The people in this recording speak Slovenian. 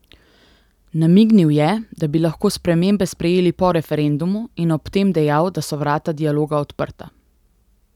Namignil je, da bi lahko spremembe sprejeli po referendumu, in ob tem dejal, da so vrata dialoga odprta.